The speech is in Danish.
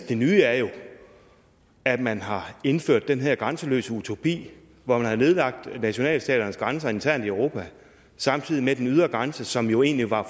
det nye er jo at man har indført den her grænseløse utopi hvor man har nedlagt nationalstaternes grænser internt i europa samtidig med at den ydre grænse som jo egentlig var